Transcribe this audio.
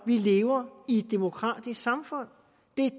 vi lever i et demokratisk samfund og